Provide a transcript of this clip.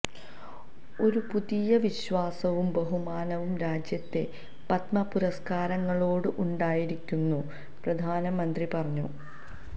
ഒരു പുതിയ വിശ്വാസവും ബഹുമാനവും രാജ്യത്തെ പദ്മ പുരസ്ക്കാരങ്ങളോട് ഉണ്ടായിരിക്കുന്നു പ്രധാനമന്ത്രി പറഞ്ഞു